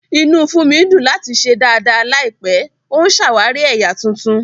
Inú Funmi dùn láti ṣe dàda láìpẹ́, ó ń ṣàwárí ẹ̀yà tuntun.